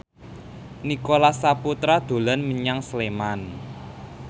Nicholas Saputra dolan menyang Sleman